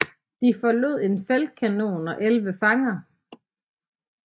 De efterlod en feltkanon og 11 fanger